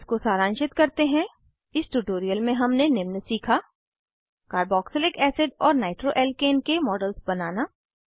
इसको सारांशित करते हैं इस ट्यूटोरियल में हमने निम्न सीखा कार्बोक्सिलिक एसिड और नाइट्रोअल्काने के मॉडल्स बनाना